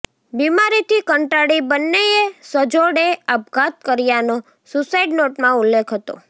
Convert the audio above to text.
બિમારીથી કંટાળી બંનેએ સજોડે આપઘાત કર્યાનો સુસાઈડ નોટમાં ઉલ્લેખ હતો